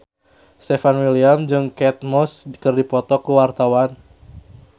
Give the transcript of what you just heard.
Stefan William jeung Kate Moss keur dipoto ku wartawan